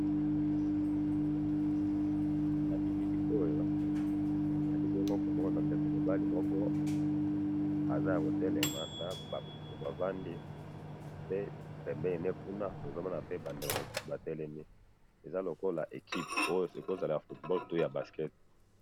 Na bilili nazali bongo komona ndeko mobali moko aza yako telema na ba mosusu bavandi, pe pembeni ne kuna tozo mona pe ba ndeko mosusu ba telemi, eza lokola équipe oyo eko zala ya football to ya basket